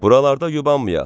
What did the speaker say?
Buralarda yubanmayaq.